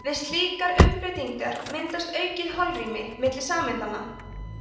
við slíka umbreytingu myndast aukið holrými milli sameindanna